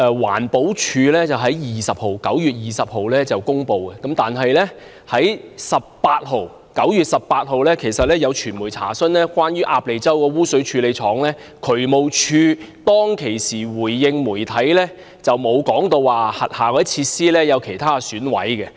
環保署在9月20日公布，但其實9月18日已有傳媒查詢關於鴨脷洲污水處理廠的情況，當時渠務署回應媒體沒有提過轄下其他設施有損毀。